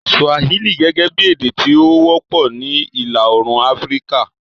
Swahili gẹ́gẹ́ bí èdè tí ó wọ́pọ̀ ní Ìlà Oòrùn Áfíríkà